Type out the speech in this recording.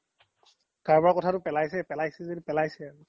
কাৰুবাৰ কথাটো পেলাইছে, পেলাইছে য্দি পেলাইছে আৰু